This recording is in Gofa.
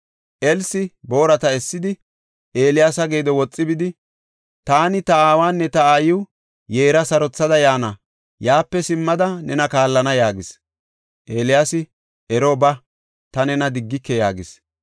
Elsi boorata essidi, Eeliyaasa geedo woxi bidi, “Taani ta aawanne ta aayiw yeera sarothada yaana; yaape simmada nena kaallana” yaagis. Eeliyaasi, “Ero ba; ta nena diggike” yaagis.